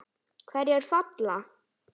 Hverjir falla?